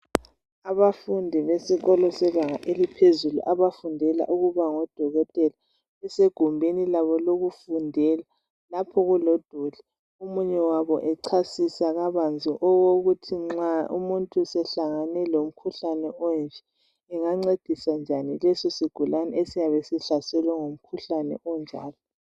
Abafundi besikolo sebanga eliphezulu abafundela ukuba ngodokotela basegumbini labo lokufundela omunye lapho kulodoli omunye wabo echasisa kabanzi okokuthi nxa umuntu sehlangane lomkhuhlane onje engancedisa njani lesisigulqne esiyabe sihlaselwe ngumkhuhlane onjalo.